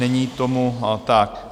Není tomu tak.